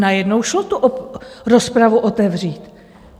Najednou to šlo, rozpravu otevřít.